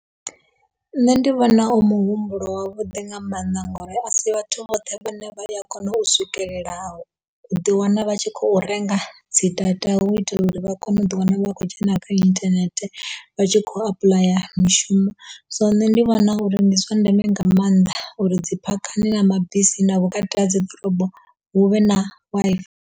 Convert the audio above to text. Nṋe ndi vhona u muhumbulo wa vhuḓi nga mannḓa ngauri a si vhathu vhoṱhe vhane vha ya kona u swikelela u ḓi wana vha tshi khou renga dzi data hu u itela uri vha kone u ḓi wana lu akho dzhena kha internet vha tshi khou apuḽaya mishumo so nṋe ndi vhona uri ndi zwa ndeme nga maanḓa uri dzi phakhani na mabisini na vhukati ha dzi ḓorobo hu vhe na Wi-Fi.